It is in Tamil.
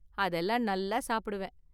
அதெல்லாம் நல்லா சாப்பிடுவேன்.